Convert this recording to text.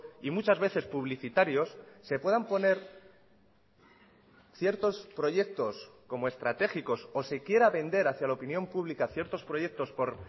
y muchas veces publicitarios se puedan poner ciertos proyectos como estratégicos o se quiera vender hacia la opinión pública ciertos proyectos por